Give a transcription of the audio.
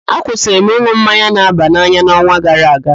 Akwụsịrị m ịn̄ụ mmanya na-aba n'anya n'ọnwa gara aga